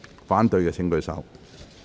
反對的請舉手。